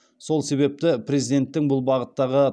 сол себепті президенттің бұл бағыттағы